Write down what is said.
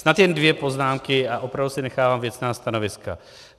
Snad jen dvě poznámky a opravdu si nechávám věcná stanoviska.